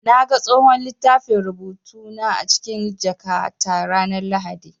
Na ga tsohon littafin rubutu na a cikin jakata ranar Lahadi.